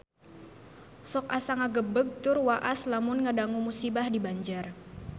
Sok asa ngagebeg tur waas lamun ngadangu musibah di Banjar